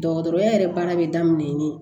Dɔgɔtɔrɔya yɛrɛ baara bɛ daminɛ ni